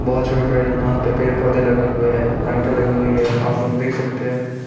बहोत छोटे छोटे यहां पे पेड़ पौधे लगे हुए हैं। लाइटें लगी हुई है आप लोग देख सकते हैं।